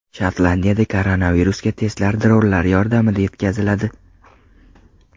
Shotlandiyada koronavirusga testlar dronlar yordamida yetkaziladi.